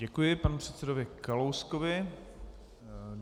Děkuji panu předsedovi Kalouskovi.